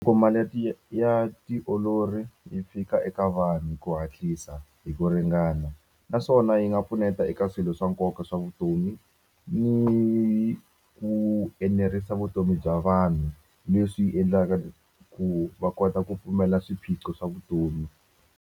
ya ti ya ya tiolori yi fika eka vanhu hi ku hatlisa hi ku ringana naswona yi nga pfuneta eka swilo swa nkoka swa vutomi ni ku enerisa vutomi bya vanhu leswi endlaka ku va kota ku pfumela swiphiqo swa vutomi.